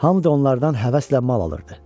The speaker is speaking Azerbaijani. Hamı da onlardan həvəslə mal alırdı.